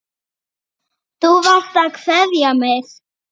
Blessuð sé minning Bögga.